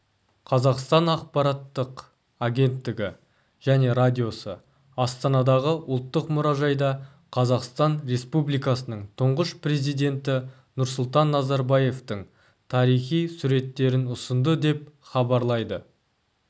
қазақстан ақпараттық агенттігі және радиосы астанадағы ұлттық мұражайда қазақстан республикасының тұңғыш президенті нұрсұлтан назарбаевтың тарихи суреттерін ұсынды деп хабарлайды